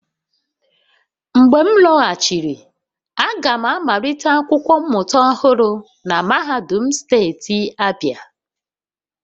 Mgbe m lọghachiri, aga m amalite akwụkwọ mmụta ọhụrụ na mahadum steeti Abia